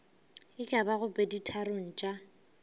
e ka bago peditharong tša